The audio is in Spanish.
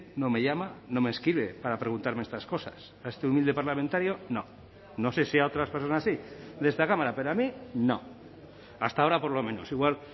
no me llama no me escribe para preguntarme estas cosas a este humilde parlamentario no no sé si a otras personas sí de esta cámara pero a mí no hasta ahora por lo menos igual